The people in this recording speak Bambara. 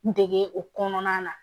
Dege o kɔnɔna na